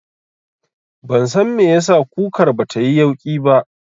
Ban san me yasa kukar batayi yauƙi ba